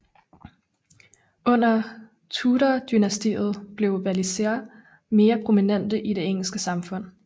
Under Tudordynastiet blev walisere mere prominente i det engelske samfund